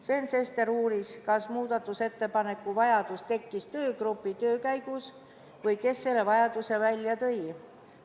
Sven Sester uuris, kas muudatusettepaneku vajadus tekkis töögrupi töö käigus või kes selle vajaduse välja tõi.